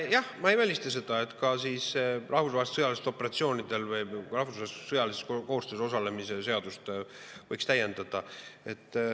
Jah, ma ei välista seda, et ka rahvusvahelistel sõjalistel operatsioonidel või rahvusvahelises sõjalises koostöös osalemise seadust võiks täiendada.